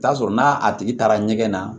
Taa sɔrɔ n'a tigi taara ɲɛgɛn na